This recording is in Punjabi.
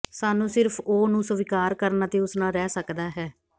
ਸਾਨੂੰ ਸਿਰਫ ਉਹ ਨੂੰ ਸਵੀਕਾਰ ਕਰਨ ਅਤੇ ਉਸ ਨਾਲ ਰਹਿ ਸਕਦਾ ਹੈ